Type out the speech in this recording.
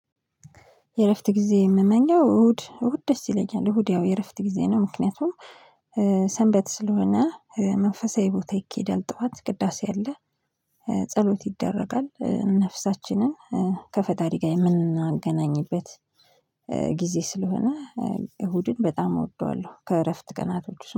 የእረፍት ጊዜ የምመኘው እሁድ እሁድ ደስ ይለኛል። እሁድ ያው የእረፍት ጊዜ ነው። ምክንያቱም ሰንበት ስለሆነ መንፈሳዊ ቦታ ይኬዳል ጠዋት ቅዳሴ አለ። ጸሎት ይደረጋል ነፍሳችንን ከፈጣሪ ጋር የምናገናኝበት ጊዜ ስለሆነ እሁድን በጣም እወደዋለሁ። ከእረፍት ቀናቶች